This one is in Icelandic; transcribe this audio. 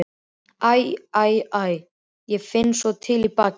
Æ, æ, æ, ég finn svo til í bakinu